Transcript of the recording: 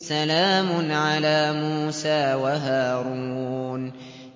سَلَامٌ عَلَىٰ مُوسَىٰ وَهَارُونَ